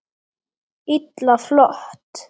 Illa flott!